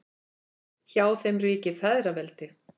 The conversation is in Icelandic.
Hjá þeim ríkir feðraveldi.